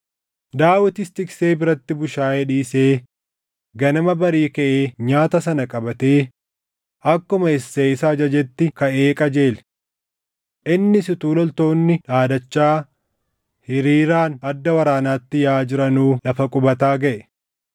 Daawitis tiksee biratti bushaayee dhiisee ganama barii kaʼee nyaata sana qabatee akkuma Isseey isa ajajetti kaʼee qajeele. Innis utuu loltoonni dhaadachaa hiriiraan adda waraanaatti yaaʼaa jiranuu lafa qubataa gaʼe.